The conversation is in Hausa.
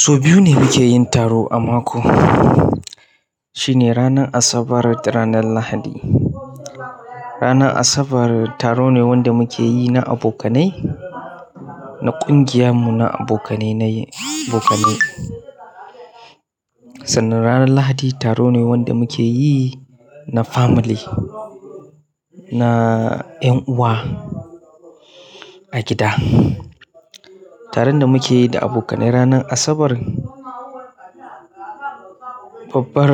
So biyu ne muke yin taro a mako. Shine ranar Asabar da ranar Lahadi. Ranar Asabar taro ne wanda muke yi na abokanai, na kungiyan mu, na abokanai nai, da kamai. Sannan ranar Lahadi taro ne wanda muke yi na family, na ƴan uwa a gida. Taron da muke yi da abokanai ranar Asabar, babbar